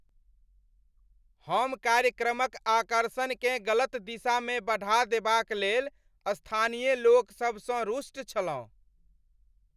हम कार्यक्रमक आकर्षणकेँ गलत दिशामे बढ़ा देबाक लेल स्थानीय लोकसभसँ रुष्ट छलहुँ।